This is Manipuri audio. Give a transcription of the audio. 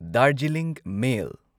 ꯗꯥꯔꯖꯤꯂꯤꯡ ꯃꯦꯜ